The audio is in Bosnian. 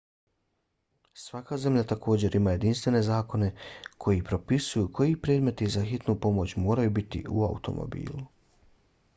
svaka zemlja također ima jedinstvene zakone koji propisuju koji predmeti za hitnu pomoć moraju biti u automobilu